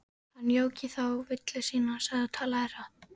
Hann jók í þá villu sína, sagði og talaði hratt